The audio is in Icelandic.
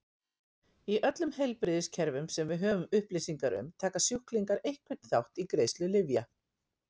Í öllum heilbrigðiskerfum sem við höfum upplýsingar um taka sjúklingar einhvern þátt í greiðslu lyfja.